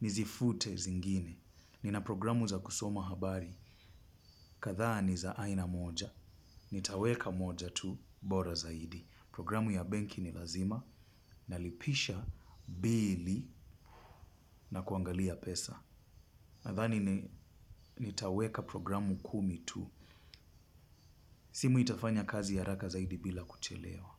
nizifute zingine. Nina programu za kusoma habari, kadhaa ni za aina moja, nitaweka moja tu, bora zaidi. Programu ya benki ni lazima, nalipisha bili na kuangalia pesa. Nadhani nitaweka programu kumi tu, simu itafanya kazi haraka zaidi bila kuchelewa.